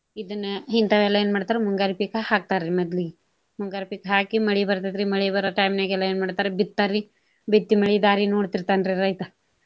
ಇದನ್ನ ಇಂತಾವ ಎಲ್ಲಾ ಏನ ಮಾಡ್ತಾರು ಮುಂಗಾರಿ ಪೀಕಾ ಹಾಕ್ತಾರಿ ಮೊದ್ಲಿಗೆ. ಮುಂಗಾರಿ ಪೀಕ ಹಾಕಿ ಮಳಿ ಬರ್ತೆತ್ರಿ ಮಳಿ ಬರೋ time ನ್ಯಾಗ ಎಲ್ಲಾ ಏನ ಮಾಡ್ತಾರಿ ಬಿತ್ತಾರಿ. ಬಿತ್ತಿ ಮಳಿ ದಾರಿ ನೋಡ್ತಿರ್ತಾನ್ರಿ ರೈತಾ.